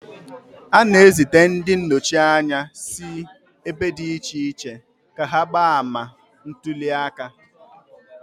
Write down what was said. A na-ezita ndị nnọchi anya si ebe dị iche iche ka ha gbaa ama ntuli aka.